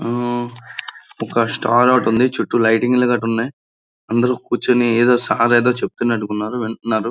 ఒక స్టార్ ఒకటుంది చుట్టూ లైటింగ్ లు గట్ట ఉన్నాయి అందరూ కూర్చొని సర్ ఎదో చెప్తున్నట్టు ఉన్నారు వింటున్నారు.